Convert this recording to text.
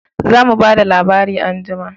Za mu ba da labari anjima